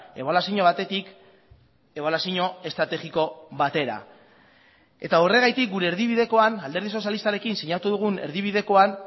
ebaluazio batetik ebaluazio estrategiko batera eta horregatik gure erdibidekoan alderdi sozialistarekin sinatu dugun erdibidekoan